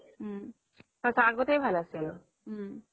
সচা আগতেই ভাল আছিল